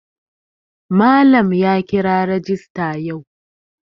Malam ya kira rajista yau.